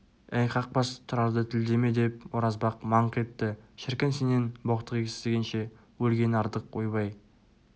әй қақбас тұрарды тілдеме деп оразбақ маңқ етті шіркін сенен боқтық естігенше өлген артық ойбай